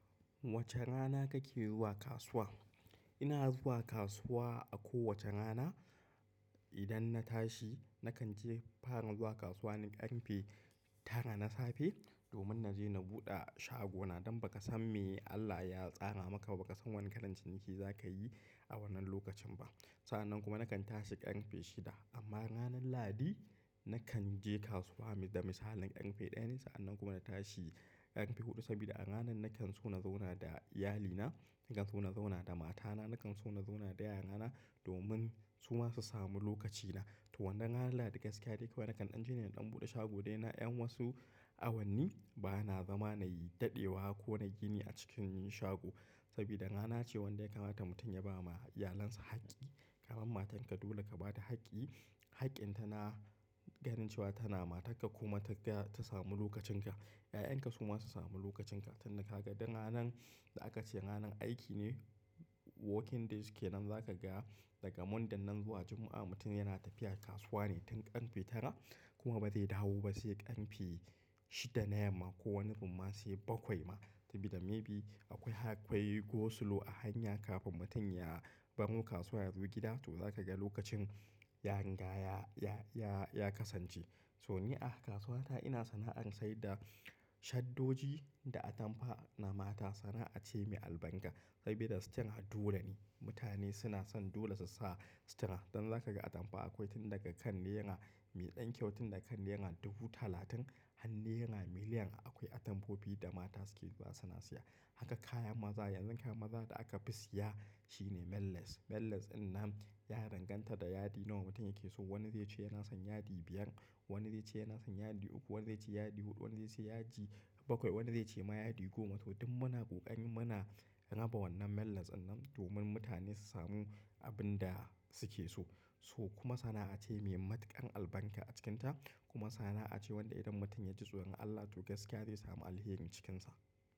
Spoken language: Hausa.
Wace rana kake zuwa kasuwa? Ina zuwa kasuwa a kowace rana. Idan na tashi nakan je fara zuwa kasuwa ne ƙarfe tara na safe, domin na je na buɗe shago na. Don ba ka san me Allah ya tsara maka ba, ba ka san wane ƙaran ciniki zaka yi a wannan lokacin ba. Sa'an nan kuma nakan tashi ƙarfe shida. Amma ranan Lahadi nakan je kasuwa da misalin ƙarfe ɗaya ne. Sa'an nan kuma na tashi ƙarfe huɗu, saboda a ranan nakan so na zauna da iyalina, nakan so na zauna da matana, nakan so na zauna da 'ya'yana domin su ma su sami lokacina. To wannan ranar Lahadi gaskiya dai kawai nakan ɗan je na ɗan buɗe shago dai na 'yan wasu awanni. Ba na zama na yi daɗewa ko na gini a cikin yin shago. Saboda rana ce wanda ya kamata mutum ya ba ma iyalinsa haƙƙi. Ka ga matanka dole ka ba ta haƙƙi. I haƙƙin itama ganin cewa tana matarka kuma ta samu lokacin ka. 'Ya'yanka su ma su sami lokacin ka. Tun da kaga duk ranan da aka ce ranan aiki ne, working days ke nan, zaka ga daga Monday nan zuwa Juma'a mutum yana tafiya kasuwa ne tun ƙatfe tara kuma ba zai dawo ba sai ƙarfe shida na yamma ko wani rimma sai bakwai ma. Saboda maybe akwai go slow a hanya kafin mutum ya baro kasuwa ya zo gida. To zaka ga lokacin ya kasance. So ni a kasuwata ina sana'ar saida shaddoji da atamfa na mata. Sana'a ce mai albar saboda sutura dole ne. Mutane suna son dole su sa sutura. Don zaka ga atamfa akwai tun daga kan naira mai ɗan kyau tun daga kan naira dubu talatin har naira miliyan akwai atamfofi da mata suke zuwa siya. Haka kayan maza yanzu kayan maza da aka fi siya shine melons. Melons innan ya danganta da yadi nawa mutum yake so. Wani zai ce yana son yadi biyar, wani zai ce yana son yadi uku, wani zai ce yadi huɗu, wani zai ce yaji bakwai, wani zai ce ma yadi goma. To duk muna ƙoƙari muna raba wannan melons nan domin mutane su samu abin da suke so. So kuma sana'a ce mai matuƙan albarka a cikinta kuma sana'a ce wanda idan mutum ya ji tsoron Allah to gaskiya zai samu alheri cikinsa.